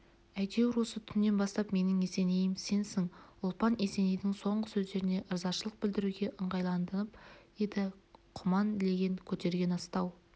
әйтеуір осы түннен бастап менің есенейім сенсің ұлпан есенейдің соңғы сөздеріне ырзашылық білдіруге ыңғайланып еді құман леген көтерген астау